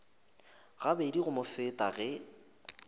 gabedi go mo feta ge